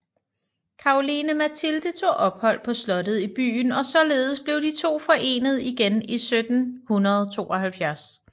Caroline Mathilde tog ophold på slottet i byen og således blev de to forenet igen i 1772